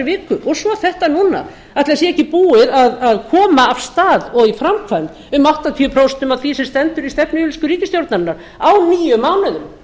viku og svo þetta núna ætli það sé ekki búið að koma af stað og í framkvæmd um áttatíu prósent af því sem stendur í stefnuyfirlýsingu ríkisstjórnarinnar á níu mánuðum